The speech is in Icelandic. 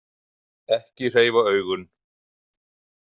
Ekki hreyfa augun.